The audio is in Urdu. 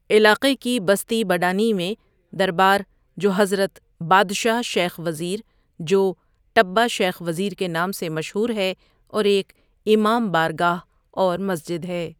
علاقے کی بستئ بڈانی میں دربارجوحضرت بادشاہ شیخ وزیر جوٹبہ شیخ وزیرکےنام سےمشہورہے اورایک امام بارگاہاورمسجد ہے۔